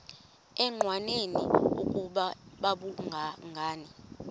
engqanweni ukuba babhungani